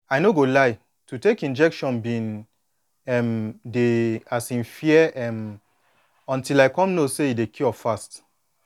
i no go lie to take injection been um dey um fear um until i come know say e dey cure fast